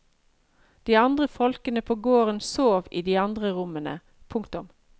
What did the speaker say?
De andre folkene på gården sov i de andre rommene. punktum